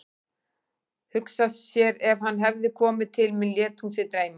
Hugsa sér ef hann hefði komið til mín, lét hún sig dreyma.